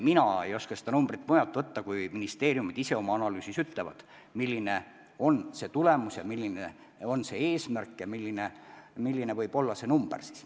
Mina ei oska seda numbrit mujalt võtta, ministeeriumid ise oma analüüsis ütlevad, milline on eesmärk ja milline võib olla tulemus.